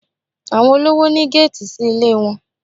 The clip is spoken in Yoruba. Àwọn olówò ní géètì sí ilé wọn